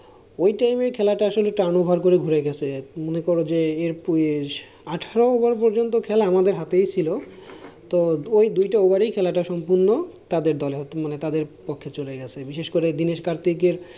ওই time এ খেলাটা আসলে turn over করে একটু ঘুরে গেছে। মনে করো যে আঠারো over পর্যন্ত খেলাটা আমাদের হাতেই ছিল। তো ওই দুইটা ওভার ই খেলাটা সম্পূর্ণ। তাদের দলে তাদের পক্ষে চলে গেছে বিশেষ করে দীনেশ কার্তিক।